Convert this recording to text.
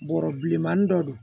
Bɔrɔ bilenmanin dɔ don